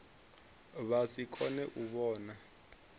vha si kone u vhona